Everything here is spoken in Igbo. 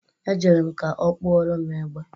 Ejere m ka ọ kpụọrọ m egbe.